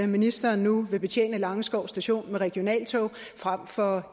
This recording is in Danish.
ministeren nu vil betjene langeskov station med regionaltog frem for